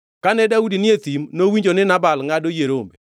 Kane Daudi ni e thim, nowinjo ni Nabal ngʼado yie rombe.